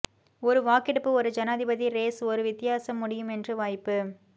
ஒரு வாக்கெடுப்பு ஒரு ஜனாதிபதி ரேஸ் ஒரு வித்தியாசம் முடியும் என்று வாய்ப்பு